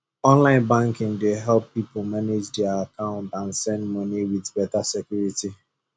online banking dey help people manage dia account and send money with better security